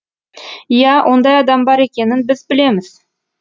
иә ондай адам бар екенін біз білеміз